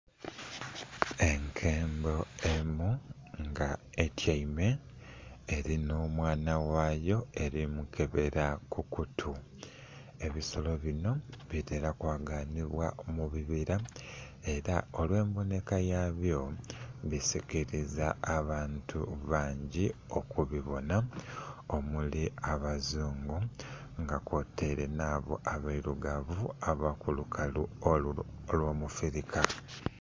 Enkembo emu nga etyaime elina omwana ghayo eli mukebela ku kutu. Ebisolo binho bitera kwaganhibwa mu bibira ela olw'embonheka yabyo bisikiliza abantu bangi okubibonha omuli abazungu nga kwotaire nh'abo abailugavu ab'okulukalu olwa mu Firika.